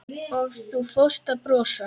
Og þú fórst að brosa.